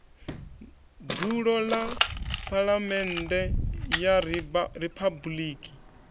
dzulo ḽa phaḽamennde ya riphabuliki